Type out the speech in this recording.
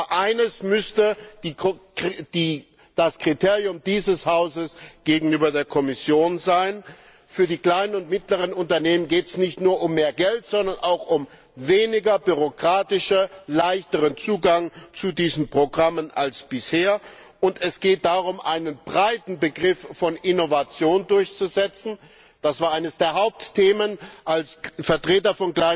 Aber eines müsste das Kriterium dieses Hauses gegenüber der Kommission sein Für die kleinen und mittleren Unternehmen geht es nicht nur um mehr Geld, sondern auch um einen weniger bürokratischen, leichteren Zugang zu diesen Programmen als bisher. Und es geht darum, einen breiten Begriff von Innovation durchzusetzen das war eines der Hauptthemen, als Vertreter